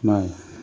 I m'a ye